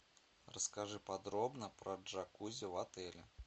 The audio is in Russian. расскажи подробно про джакузи в отеле